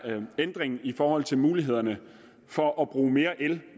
ændring i forhold til mulighederne for at bruge mere el